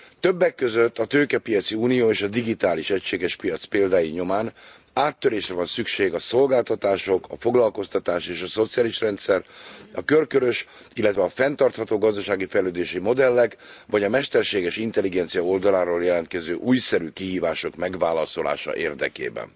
Többek között a tőkepiaci unió és a digitális egységes piac példái nyomán áttörésre van szükség a szolgáltalások, a foglalkoztatás és a szociális rendszer, a körkörös, illetve a fenntartható gazdasági fejlődési modellek, vagy a mesterséges intelligencia oldaláról jelentkező újszerű kihívások megválaszolása érdekében.